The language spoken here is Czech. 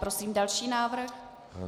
Prosím další návrh.